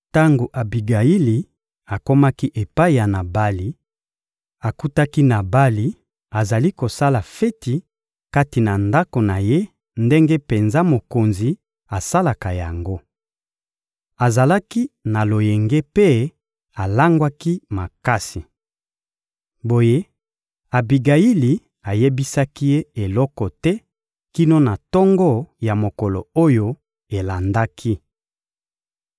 Tango Abigayili akomaki epai ya Nabali, akutaki Nabali azali kosala feti kati na ndako na ye ndenge penza mokonzi asalaka yango. Azalaki na loyenge mpe alangwaki makasi. Boye Abigayili ayebisaki ye eloko te kino na tongo ya mokolo oyo elandaki.